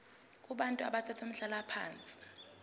kubantu abathathe umhlalaphansi